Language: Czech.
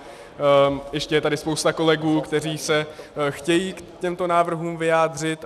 Ještě je tady spousta kolegů, kteří se chtějí k těmto návrhům vyjádřit.